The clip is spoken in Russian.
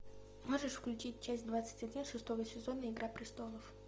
можешь включить часть двадцать один шестого сезона игра престолов